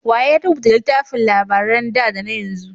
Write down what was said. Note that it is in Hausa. Wa ya rubuta littafin labaran da da na yanzu?